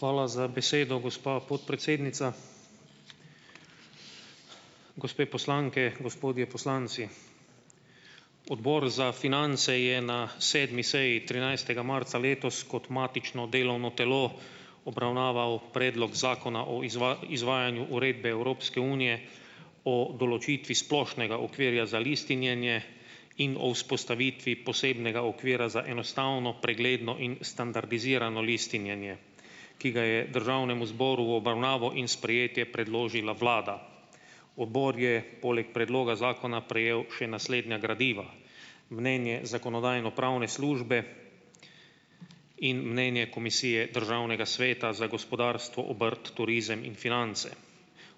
Hvala za besedo, gospa podpredsednica. Gospe poslanke, gospodje poslanci. Odbor za finance je na sedmi seji trinajstega marca letos kot matično delovno telo, obravnaval Predlog zakona o izvajanju Uredbe Evropske Unije o določitvi splošnega okvirja za listinjenje in o vzpostavitvi posebnega okvira za enostavno, pregledno in standardizirano listinjenje, ki ga je državnemu zboru v obravnavo in sprejetje predložila vlada. Odbor je, poleg predloga zakona, prejel še naslednja gradiva: mnenje Zakonodajno-pravne službe in mnenje Komisije Državnega sveta za gospodarstvo, obrt, turizem in finance.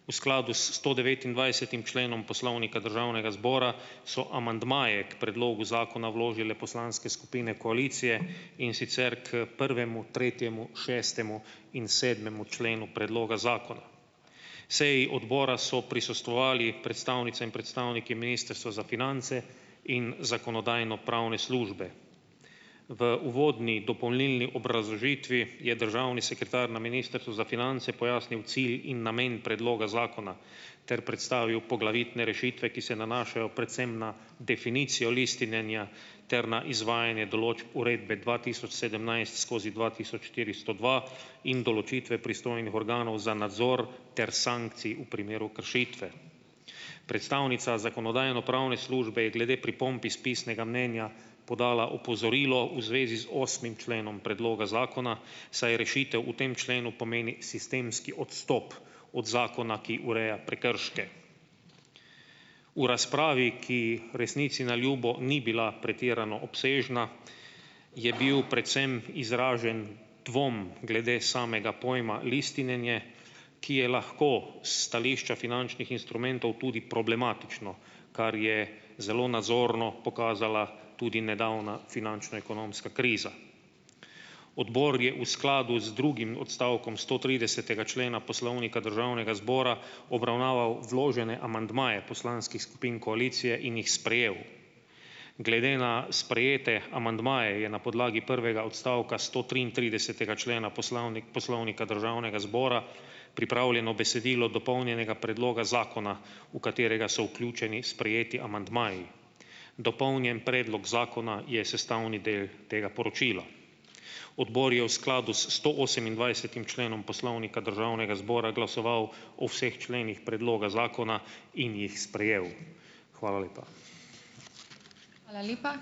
V skladu s stodevetindvajsetim členom Poslovnika Državnega zbora so amandmaje k predlogu zakona vložile Poslanske skupine koalicije, in sicer k prvemu, tretjemu, šestemu in sedmemu členu predloga zakona. Seji odbora so prisostvovali predstavnice in predstavniki Ministrstva za finance in Zakonodajno-pravne službe. V uvodni dopolnilni obrazložitvi, je državni sekretar na Ministrstvu za finance pojasnil cilj in namen predloga zakona ter predstavil poglavitne rešitve, ki se nanašajo predvsem na definicijo listninjenja ter na izvajanje določb uredbe dva tisoč sedemnajst skozi dva tisoč štiristo dva in določitve pristojnih organov za nadzor ter sankcij v primeru kršitve. Predstavnica Zakonodajno-pravne službe je glede pripomb iz pisnega mnenja podala opozorilo v zvezi z osmim členom predloga zakona, saj rešitev v tem členu pomeni sistemski odstop od zakona, ki ureja prekrške. V razpravi, ki resnici na ljubo ni bila pretirano obsežna, je bil predvsem izražen dvom glede samega pojma listinjenje, ki je lahko, s stališča finančnih instrumentov tudi problematično, kar je zelo nazorno pokazala tudi nedavna finančno-ekonomska kriza. Odbor je v skladu z drugim odstavkom stotridesetega člena Poslovnika Državnega zbora obravnaval vložene amandmaje poslanskih skupin koalicije in jih sprejel. Glede na sprejete amandmaje je na podlagi prvega odstavka stotriintridesetega člena Poslovnika Državnega zbora pripravljeno besedilo dopolnjenega predloga zakona, v katerega so vključeni sprejeti amandmaji. Dopolnjen predlog zakona je sestavni del tega poročila. Odbor je v skladu s stoosemindvajsetim členom Poslovnika Državnega zbora glasoval o vseh členih predloga zakona in jih sprejel. Hvala lepa.